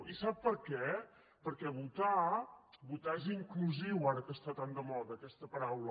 i sap per què perquè votar és inclusiu ara que està tan de moda aquesta paraula